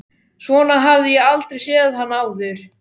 Svona hafði ég aldrei séð hann áður.